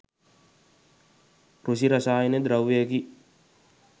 කෘෂි රසායන ද්‍රව්‍යයකි.